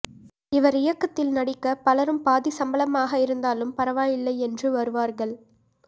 இவர் இயக்கத்தில் நடிக்க பலரும் பாதி சம்பளமாக இருந்தாலும் பரவாயில்லை என்று வருவார்கள்